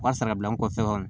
U ka sara bila n kɔfɛ